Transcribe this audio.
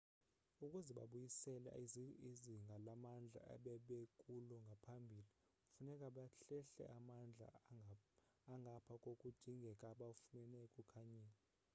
ukuze babuyisele izinga lamandla ebebekulo ngaphambili funeke bahlehle amandla angapha kokudingeka abawafumene ekukhanyeni